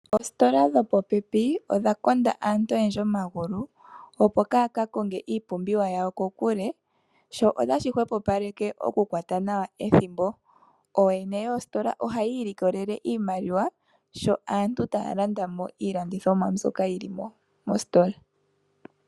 Oositola dhopopepi odha konda aantu oyendji omagulu opo kaya ka konge iipumbiwa yawo kokule. Sho otashi hwepo paleke oku kwata nawa ethimbo . Ooyene yoositola ohaya ilikolele iimaliwa sho aantu taya landamo iilandithomwa moositola.